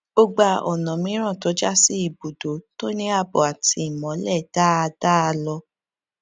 ó gba ònà mìíràn tó já sí ibùdókọ tó ní ààbò àti ìmọlẹ dáadáa lọ